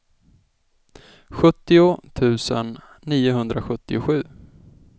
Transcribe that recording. sjuttio tusen niohundrasjuttiosju